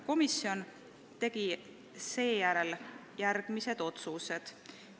Komisjon tegi seejärel järgmised otsused.